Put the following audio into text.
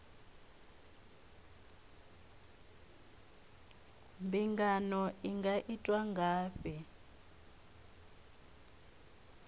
mbingano i nga itwa ngafhi